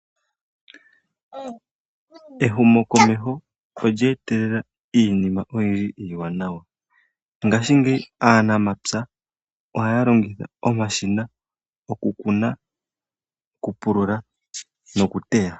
Ehumokomeho olye etelela iinima oyindji iiwanawa mongaashingeyi aanamapya ohaya longitha omashina okukuna, okupulula nokuteya.